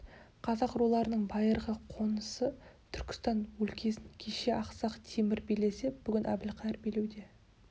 қазақ руларының байырғы қонысы түркістан өлкесін кеше ақсақ темір билесе бүгін әбілқайыр билеуде